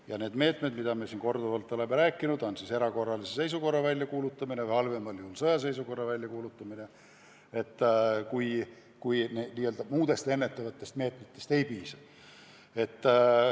Ja need meetmed, nagu ma siin korduvalt olen öelnud, on erakorralise seisukorra väljakuulutamine, halvemal juhul sõjaseisukorra väljakuulutamine, kui muudest ennetavatest meetmetest ei piisa.